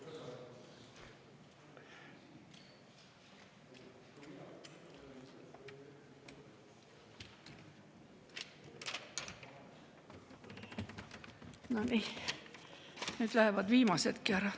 No nii, nüüd lähevad viimasedki ära.